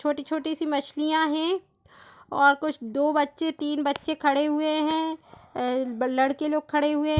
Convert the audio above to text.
छोटी छोटी सी मछलियाँ हैं और कुछ दो बच्चे तीन बच्चे खड़े हुए है अ लड़के लोग खड़े हुए --